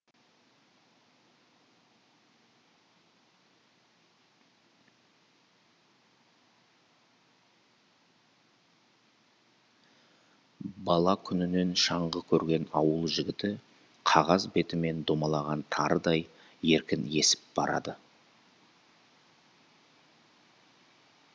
бала күнінен шаңғы көрген ауыл жігіті қағаз бетімен домалаған тарыдай еркін есіп барады